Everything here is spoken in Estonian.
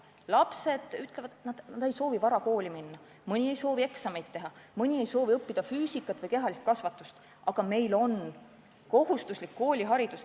Lapsed ütlevad, et nad ei soovi vara kooli minna, mõni ei soovi eksameid teha, mõni ei soovi õppida füüsikat või käia kehalises kasvatuses, aga meil on kohustuslik kooliharidus.